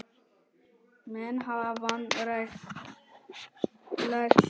Menn hafa vanrækt lægstu hópana.